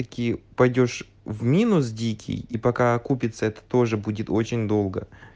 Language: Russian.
такие пойдёшь в минус дикий и пока окупится это тоже будет очень долго